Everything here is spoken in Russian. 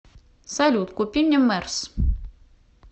салют купи мне мерс